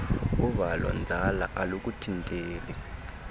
uvalo nzala alukuthinteli